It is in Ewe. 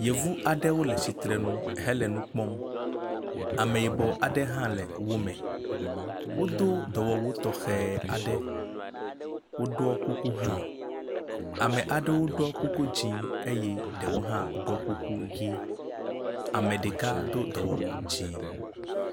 Yevu aɖewo le tsitre ŋu hele nu kpɔm. Ameyibɔ aɖe hã le wome. Wodo dɔwuwu tɔxe aɖe, woɖɔ kuku hã. Ame aɖewo ɖɔ kuku dzɛ̃ eye ɖewo hã ɖɔ kuku ʋi. Ame ɖeka do dɔwɔwu dzɛ̃.